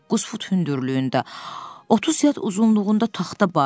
Doqquz fut hündürlüyündə, otuz yad uzunluğunda taxta barı.